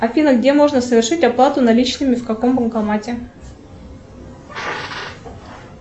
афина где можно совершить оплату наличными в каком банкомате